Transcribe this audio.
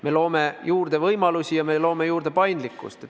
Me loome juurde võimalusi ja me loome juurde paindlikkust.